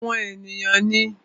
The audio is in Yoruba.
Àwọn èèyàn ní